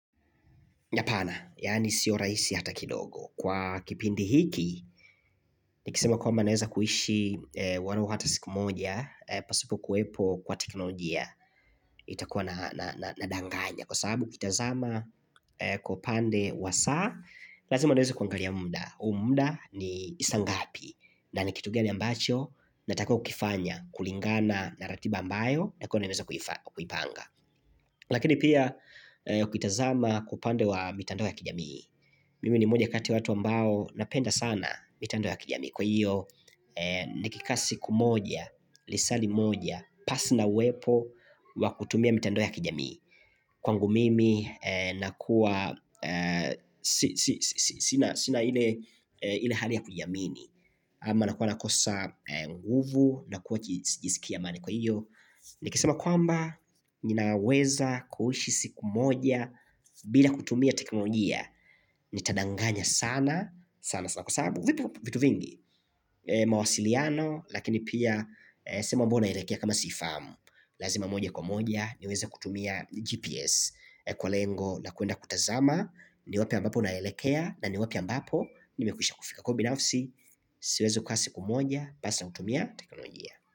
Apana, yaani sio raisi hata kidogo. Kwa kipindi hiki, nikisema kwamba naeza kuishi walau hata siku moja, pasipo kuwepo kwa teknolojia, itakuwa na danganya. Kwa sababu ukitazama kwa upande wa saa, lazima tuweze kuangalia muda. Huu muda ni saa ngapi, na ni kitu gani ambacho, natakiwa kukifanya, kulingana na ratiba ambayo, nitakuwa nimeweza kuipanga. Lakini pia ukitazama kwa upande wa mitandao ya kijamii Mimi ni moja kati watu ambao napenda sana mitandao ya kijamii Kwa iyo nikikaa siku moja, lisaa limoja, pasi na uwepo wa kutumia mitando ya kijamii Kwangu mimi nakuwa sina ile hali ya kujiamini Ama nakuwa nakosa nguvu, nakuwa sijiskii amani kwa iyo Nikisema kwamba ninaweza kuishi siku moja bila kutumia teknolojia Nitadanganya sana sana sana kwa sababu vipo vitu vingi mawasiliano lakini pia sema mbona elekea kama siifahamu Lazima moja kwa moja niweza kutumia GPS Kwa lengo la kuenda kutazama ni wapi ambapo naelekea na ni wapi ambapo nimekwisha kufika kwa binafsi Siwezi kukaa siku moja pasi na kutumia teknolojia.